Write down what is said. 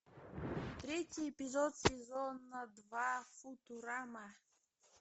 третий эпизод сезона два футурама